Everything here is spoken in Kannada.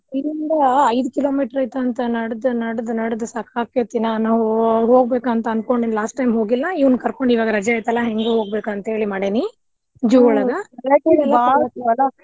ಇಲ್ಲಿಂದ ಐದ್ kilometre ಐತಂತ ನಡದ್ ನಡದ್ ನಡದ್ ಸಾಕಾಗ್ತೇತಿ ನಾನ್ ಹೋಗ್ಬೇಕಂತ ಅನ್ಕೊಂಡಿದ್ದ last time ಹೋಗಿಲ್ಲಾ ಇವರ್ನ್ ಕರ್ಕೊಂಡ್ ಹೆಂಗು ರಜಾ ಐತಲ್ಲಾ ಹೆಂಗು ಹೋಗ್ಬೇಕಂತೇಳಿ ಮಾಡೇನಿ June ಒಳ್ಗ .